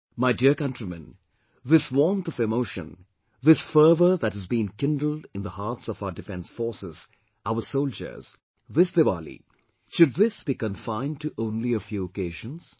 My dear countrymen, this warmth of emotion, this fervour that has been kindled in the hearts of our defence forces, our soldiers this Diwali, should this be confined to only a few occasions